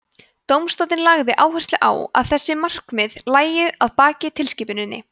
dómstóllinn lagði áherslu á að þessi markmið lægju að baki tilskipuninni